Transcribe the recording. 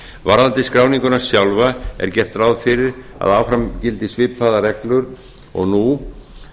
varðandi skráninguna sjálfa er gert ráð fyrir að áfram gildi svipaðar reglur og nú